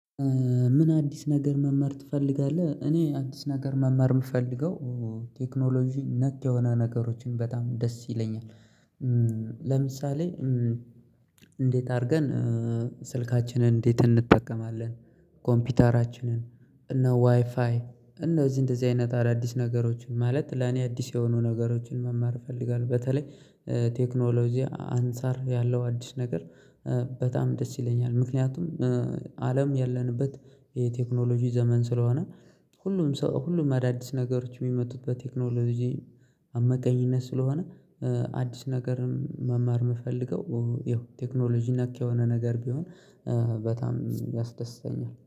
ምን አዲስ ነገር መመር ትፈልጋለህ? እኔ አዲስ ነገር መመር የምፈልገው ቴክኖሎጂ ነክ የሆነ ነገሮችን በጣም ደስ ይለኛል። ለምሳሌ እንዴት አድርገን ስልካችንን እንዴት እንጠቀማለን። ኮምፒውተራችንን እነ ዋይፋይ እነ እዚህ እንደዚህ አይነት አዳዲስ ነገሮችን ማለት ለኔ አዲስ የሆኑ ነገሮችን መማር እፈልጋለሁ። በተለይ ቴክኖሎጂ አንፃር ያለው አዲስ ነገር በጣም ደስ ይለኛል። ምክንያቱም አለም ያለንበት የቴክኖሎጂ ዘመን ስለሆነ ሁሉም ሰው ሁሉም አዳዲስ ነገሮች የሚመጡት በቴክኖሎጂ አመካኝነት ስለሆነ አዲስ ነገርን መማር የምፈልገው ይኸው ቴክኖሎጂ ነክ የሆነ ነገር ቢሆን በጣም ያስደስተኛል